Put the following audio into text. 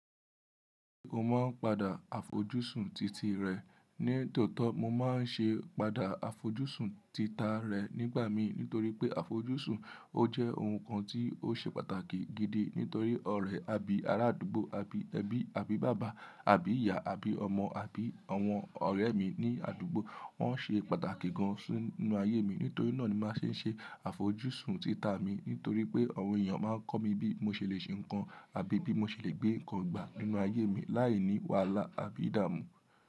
Mo máa ń padà àfojúsùn titi rẹ̀. Ní tòótọ́ mo máa ń ṣe padà àfojúsùn tita rẹ̀ nígbà mi nítorí pé àfojúsùn ó jẹ́ ohun kan tí ó ṣe pàtàkì gidi nítorí ọ̀rẹ́ àbí ará àdúgbò àbí ẹbí àbí bàbá àbí ìyá àbí ọmọ àbí àwọn ọ̀rẹ́ mi ní àdúgbò wọ́n ṣe pàtàkì gan si nínú ayé mi. Nítorí náà ni màá ṣe ń ṣe àfojúsùn tita mi nítorí pé àwọn èèyàn máa kọ́ mi bí mo ṣe le ṣe nǹkan àbí bí mo ṣe le gbé nǹkan gbà nínú ayé mi láì ní wàhálà àbí ìdààmú.